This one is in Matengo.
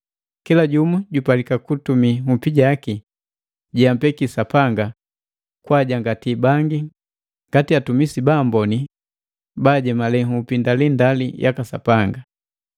Kila jumu jupalika kutumii nhupi jaki jeampeki Sapanga kwa kwaajangati bangi ngati atumisi baamboni baajemale nhupi ndalindali yaka Sapanga.